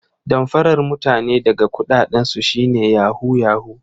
Damfarar mutane daga kudaden su shi ne 'yahoo yahoo'